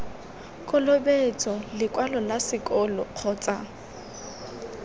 kolobetso lekwalo la sekolo kgotsa